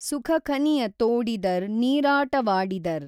ಸುಖಖನಿಯ ತೋಡಿದರ್ ನೀರಾಟವಾಡಿದರ್